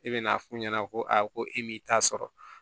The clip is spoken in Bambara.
I bɛ n'a f'u ɲɛna ko ayi ko e m'i ta sɔrɔ